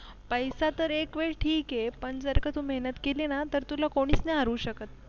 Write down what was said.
पैसा तर एक वेळ ठीक आहे पण जर का तू मेहनत केली ना तर तुला कोणीच नाही अडवू शकत